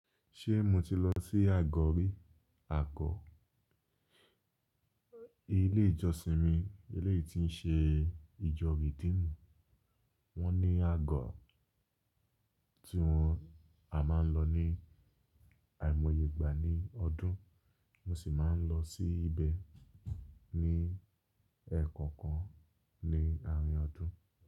Ṣé mo ti lọ sí àgọ́ rí? Àgo, ilé ìjọsìn mi, eleyi tí ń ṣe ìjọ redeemu. Wọ́n ní àgọ́ tí wọ́n a máa ń lọ ní àìmọye ìgbà ní ọdún, mo sì máa ń lọ sí ibẹ̀ ní ẹ̀ẹ̀kan kan ní àárín ọdún.